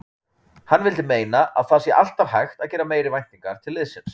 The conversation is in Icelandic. Hann vildi meina að það sé alltaf hægt að gera meiri væntingar til liðsins.